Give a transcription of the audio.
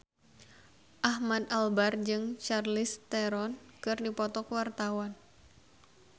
Ahmad Albar jeung Charlize Theron keur dipoto ku wartawan